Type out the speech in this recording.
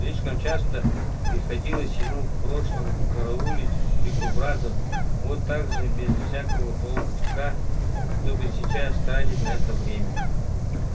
слишком часто приходилось ему в прошлом караулить дикобразов вот так же без всякого толка чтобы сейчас тратить на это время